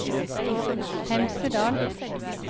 Hemsedal